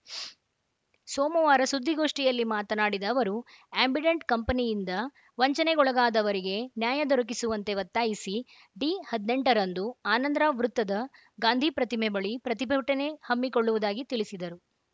ಶ್ ಸೋಮವಾರ ಸುದ್ದಿಗೋಷ್ಠಿಯಲ್ಲಿ ಮಾತನಾಡಿದ ಅವರು ಆ್ಯಂಬಿಡೆಂಟ್‌ ಕಂಪೆನಿಯಿಂದ ವಂಚನೆಗೊಳಗಾದವರಿಗೆ ನ್ಯಾಯ ದೊರಕಿಸುವಂತೆ ಒತ್ತಾಯಿಸಿ ಡಿ ಹದಿನೆಂಟ ರಂದು ಆನಂದ್‌ರಾವ್‌ ವೃತ್ತದ ಗಾಂಧಿ ಪ್ರತಿಮೆ ಬಳಿ ಪ್ರತಿಭಟನೆ ಹಮ್ಮಿಕೊಳ್ಳುವುದಾಗಿ ತಿಳಿಸಿದರು